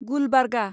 Gulbarga